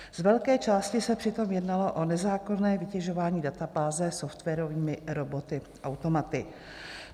Z velké části se přitom jednalo o nezákonné vytěžování databáze softwarovými roboty - automaty.